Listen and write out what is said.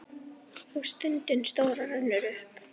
Og stundin stóra rennur upp.